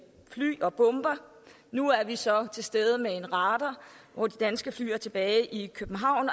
fly og bomber nu er vi så til stede med en radar og de danske fly er tilbage i københavn